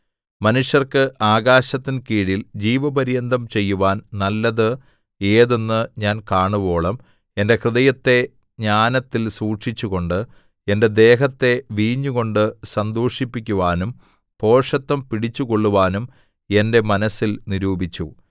മനുഷ്യർക്ക് ആകാശത്തിൻ കീഴിൽ ജീവപര്യന്തം ചെയ്യുവാൻ നല്ലത് ഏതെന്നു ഞാൻ കാണുവോളം എന്റെ ഹൃദയത്തെ ജ്ഞാനത്തിൽ സൂക്ഷിച്ചുകൊണ്ട് എന്റെ ദേഹത്തെ വീഞ്ഞുകൊണ്ടു സന്തോഷിപ്പിക്കുവാനും ഭോഷത്തം പിടിച്ചു കൊള്ളുവാനും എന്റെ മനസ്സിൽ നിരൂപിച്ചു